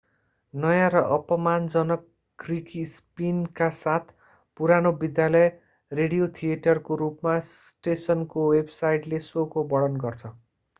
नयाँ र अपमानजनक ग्रिकी स्पिनका साथ पुरानो विद्यालय रेडियो थिएटर को रूपमा स्टेशनको वेब साइटले शोको वर्णन गर्छ